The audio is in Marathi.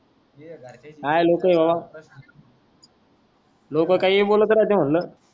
काई लोक आहे बाबा लोक काई बोलत राहते म्हणलं